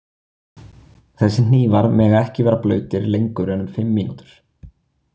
Þessir hnífar mega ekki vera blautir lengur en um fimm mínútur.